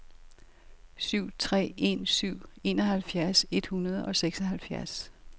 syv tre en syv enoghalvfjerds et hundrede og seksoghalvfjerds